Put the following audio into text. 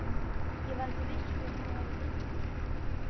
Ég var ekki viss hvort mig hefði dreymt þetta.